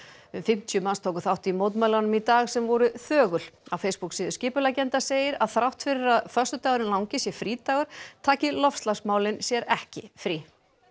um fimmtíu manns tóku þátt í mótmælunum í dag sem voru þögul á Facebook síðu skipuleggjenda segir að þrátt fyrir að föstudagurinn langi sé frídagur taki loftslagsmálin sér ekki frí